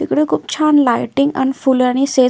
इकडे खूप छान लायटिंग आणि फुलानी से--